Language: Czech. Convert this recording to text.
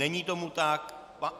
Není tomu tak.